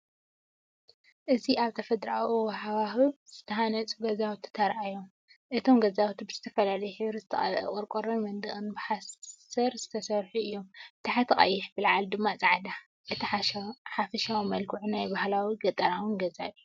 እዚ ኣብ ተፈጥሮኣዊ ሃዋህው ዝተሃንጹ ገዛውቲ ተራእዮም። እቶም ገዛውቲ ብዝተፈላለየ ሕብሪ ዝተቐብአ ቆርቆሮን መንደቕን ብሓሰር ዝተሰርሑ እዮም፤ ብታሕቲ ቀይሕ ብላዕሊ ድማ ጻዕዳ። እቲ ሓፈሻዊ መልክዕ ናይ ባህላውን ገጠራውን ገዛ እዩ።